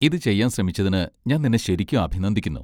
ഇത് ചെയ്യാൻ ശ്രമിച്ചതിന് ഞാൻ നിന്നെ ശരിക്കും അഭിനന്ദിക്കുന്നു.